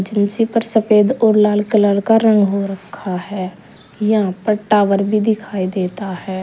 इसी पर सफेद और लाल कलर का रंग हो रखा है यहां पर टावर भी दिखाई देता है।